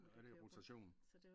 Er det rotation?